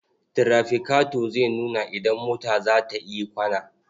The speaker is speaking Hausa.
Tirafikato zai nuna idan mota za ta yi kwana.